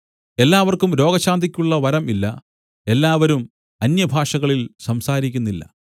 എല്ലാവർക്കും രോഗശാന്തിക്കുള്ള വരം ഇല്ല എല്ലാവരും അന്യഭാഷകളിൽ സംസാരിക്കുന്നില്ല